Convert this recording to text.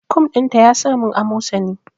Kum din ta yasa min amosani